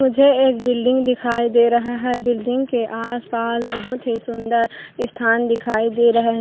मुझे एक बिल्डिंग दिखाई दे रहा है बिल्डिंग के आसपास बहुत ही सुन्दर स्थान दिखाई दे रहा है।